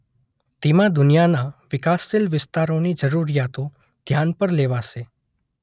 તેમાં દુનિયાના વિકાસશીલ વિસ્તારોની જરૂરિયાતો ધ્યાન પર લેવાશે.